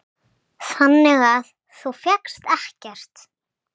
Þannig að þú fékkst ekkert?